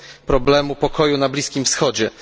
problemu pokoju na Bliskim Wschodzie.